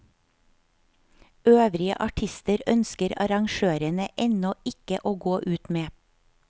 Øvrige artister ønsker arrangørene ennå ikke å gå ut med.